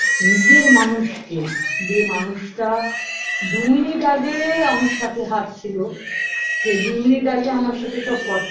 নিজের মানুষকে যে মানুষটা দু মিনিট আগে আমার সাথে হাঁটছিলো সে দু মিনিট আগে আমার সাথে সব কথা